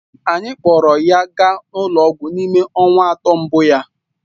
Anyị kpọọrọ ya gaa ụlọ ọgwụ n'ime ọnwa atọ mbụ ya